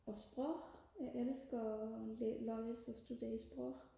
og sprog jeg elsker og læse og studere sprog